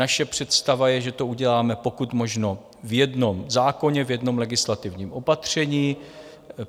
Naše představa je, že to uděláme pokud možno v jednom zákoně, v jednom legislativním opatření.